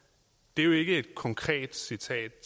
det er jo ikke et konkret citat